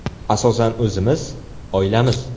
Asosan o‘zimiz, oilamiz.